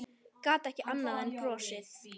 Gat ekki annað en brosað.